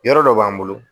Yɔrɔ dɔ b'an bolo